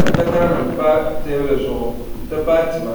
ka takara nim pa teebuli zuɣu n ti pahi tima